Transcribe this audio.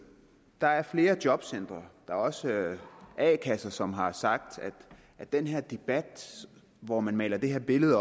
der er flere jobcentre og også a kasser som har sagt at den her debat hvor man maler det her billede